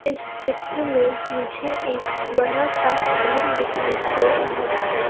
इस चित्र में मुझे एक बड़ासा घर दिखाई दे रहा हैं।